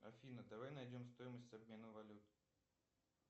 афина давай найдем стоимость обмена валют